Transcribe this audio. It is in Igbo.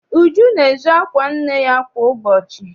Uju na-ezu akwa nne ya kwa ụbọchị.